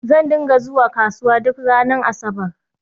Zan dinga zuwa kasuwa duk ranar Asabar